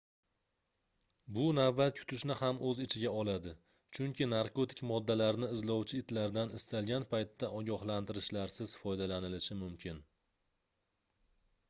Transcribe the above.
bu navbat kutishni ham oʻz ichiga oladi chunki narkotik moddalarni izlovchi itlardan istalgan paytda ogohlantirishlarsiz foydalanilishi mumkin